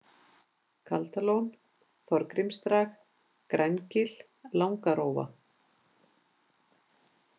Kaldalón, Þorgrímsdrag, Grængil, Langarófa